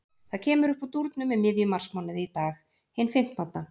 Það kemur uppúr dúrnum í miðjum marsmánuði, í dag, hinn fimmtánda.